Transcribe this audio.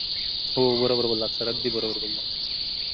हो बरोबर बोललात sir अगदी बरोबर